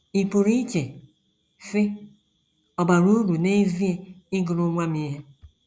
Ị pụrụ iche, sị, ‘ Ọ̀ bara uru n’ezie ịgụrụ nwa m ihe? ’